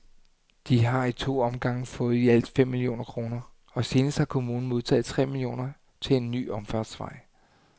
De har i to omgange fået i alt fem millioner kroner, og senest har kommunen modtaget tre millioner til en ny omfartsvej.